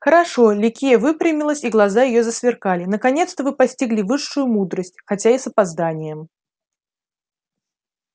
хорошо ликия выпрямилась и глаза её засверкали наконец-то вы постигли высшую мудрость хотя и с опозданием